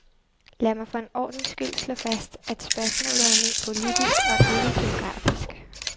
Lad mig for en ordens skyld slå fast, at spørgsmålet er ment politisk og ikke geografisk.